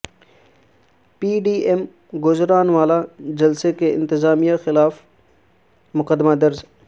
پی D M کے گوجرانوالہ جلسے کی انتظامیہ کیخلاف مقدمہ درج